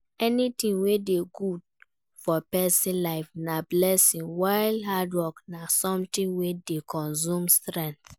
Anything wey good for persin life na blessing while hard work na something wey de consume strength